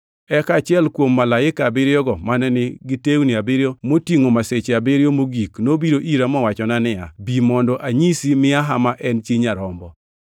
Eka achiel kuom malaike abiriyogo mane nigi tewni abiriyo motingʼo masiche abiriyo mogik nobiro ira mowachona niya, “Bi, mondo anyisi miaha ma en chi Nyarombo.”